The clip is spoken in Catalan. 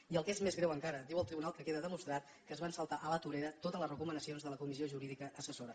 i el que és més greu encara diu el tribunal que queda demostrat que es van saltar a la torera totes les recomanacions de la comissió jurídica assessora